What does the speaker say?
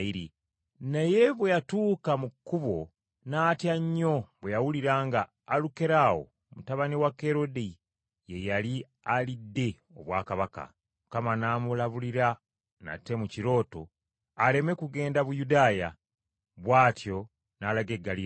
Naye bwe yatuuka mu kkubo n’atya nnyo bwe yawulira nga Alukerawo mutabani wa Kerode ye yali alidde obwakabaka. Mukama n’amulabulira nate mu kirooto aleme kugenda Buyudaaya, bw’atyo n’alaga e Ggaliraaya